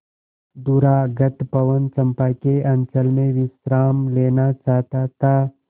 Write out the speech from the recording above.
दूरागत पवन चंपा के अंचल में विश्राम लेना चाहता था